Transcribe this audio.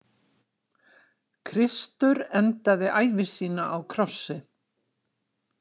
Kristur endaði ævi sína á krossi.